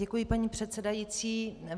Děkuji, paní předsedající.